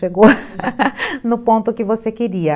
pegou no ponto que você queria.